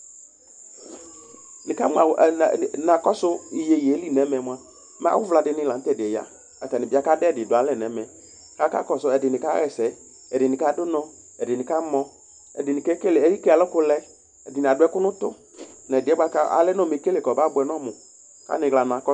Nakɔsʋ iyeye yɛli nʋ ɛmɛ mʋa mɛ awʋvla dini lanʋ tɛdiɛ ya akadʋ ɛdidʋalɛ nʋ ɛmɛKʋ akakɔsʋ ɛdini kaxaɛsɛ, ɛdini kadʋ ʋnɔ, ɛdini kamɔ, ɛdini eke alʋkʋlɛ, ɛdini adʋ ɛkʋ nʋ ʋtʋ, nʋ ɛdiyɛ bʋakʋ ɔlɛ nʋ ɔmɛkele kʋ ɔbʋɛnʋ ɔmɔ